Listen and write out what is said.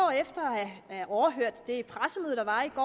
at have overhørt det pressemøde der var i går